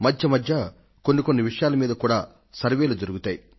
మధ్య మధ్య కొన్ని విషయాల మీద కూడా సర్వేక్షణలు జరుగుతాయి